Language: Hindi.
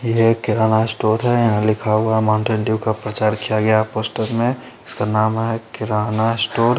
ये एक किराणा स्टोर है यहा लिखा हुआ है माउन्टेन डीउ का प्रचार किया गया है पोस्टर में इसका नाम है किराणा स्टोर --